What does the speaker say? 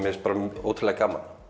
finnst bara ótrúlega gaman